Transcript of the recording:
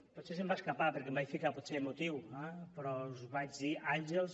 potser se’m va escapar perquè em vaig ficar potser emotiu eh però us vaig dir àngels